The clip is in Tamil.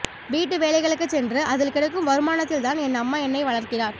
வீட்டு வேலைகளுக்குச் சென்று அதில் கிடைக்கும் வருமானத்தில்தான் என் அம்மா என்னை வளர்க்கிறார்